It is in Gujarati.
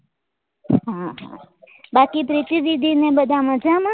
હા બાકી પ્રીતિ દીદી ને બધા મજામાં?